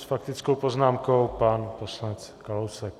S faktickou poznámkou pan poslanec Kalousek.